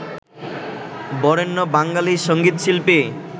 Barenya Bengali সঙ্গীতশিল্পী